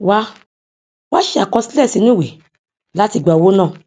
wá wá ṣe àkọsílẹ sinu iwe láti gba owó náà